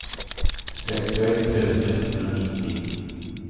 sextioett tusen etthundranittio